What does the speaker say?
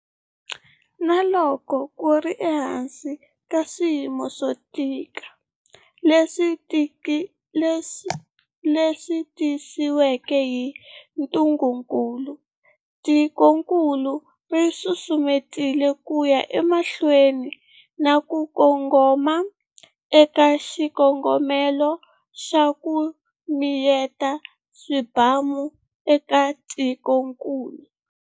Na loko ku ri ehansi ka swiyimo swo tika leswi tisiweke hi ntungukulu, tikokulu ri susumetile ku ya emahlweni na ku kongoma eka xikongomelo xa ku miyeta swibamu eka tikokulu.